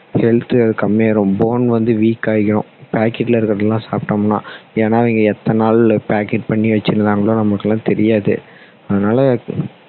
health அது கம்மி ஆகிடும் bone வந்து weak ஆகிடும் packet ல இருக்குறதெல்லாம் சாப்பிட்டோம்னா ஏன்னா அவங்க எத்தனை நாள் packet பண்ணி வச்சிருந்தாங்களோ நமக்கு எல்லாம் தெரியாது அதனால